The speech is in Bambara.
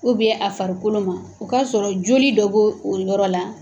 a farikolo ma, o k'a sɔrɔ joli dɔ bɔ o yɔrɔ la,